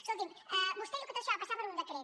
escolti’m vostè diu que tot això va passar per un decret